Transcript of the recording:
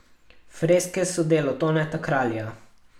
Freske so delo Toneta Kralja.